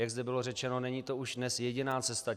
Jak zde bylo řečeno, není to už dnes jediná cesta.